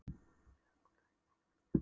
Og Júlía uppgötvaði nýja heima, nýjar víddir.